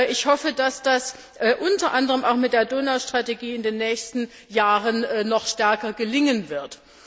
Ich hoffe, dass das unter anderem auch mit der Donaustrategie in den nächsten Jahren noch stärker gelingen wird.